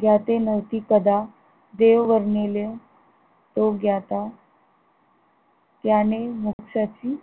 ज्ञाते नव्हते कदा देव वर्णिले तो ग्याता त्याने मोक्षची